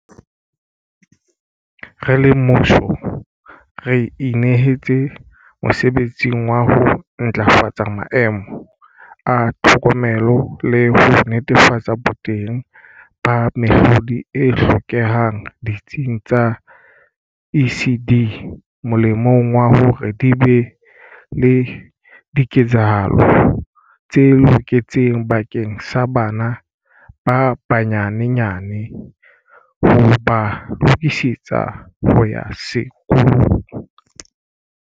Re le mmuso re inehetse mosebetsing wa ho ntlafatsa maemo a tlhokomelo le ho netefatsa boteng ba mehlodi e hlokehang ditsing tsa ECD molemong wa hore di be le diketsahalo tse loketseng bakeng sa bana ba banye nyane, ho ba lokisetsa ho ya sekolong.